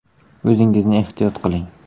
O‘zingizni ehtiyot qiling!